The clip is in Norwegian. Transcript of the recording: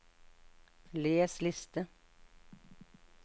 les liste